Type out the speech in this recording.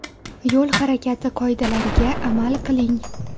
Yo‘l harakati qoidalariga amal qiling.